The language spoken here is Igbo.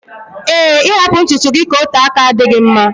ee, ịhapụ ntutu gị ka ote aka adịghị mma